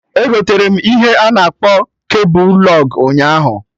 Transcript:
Egoterem ihe a na akpọ kebul lụg ụnyaahụ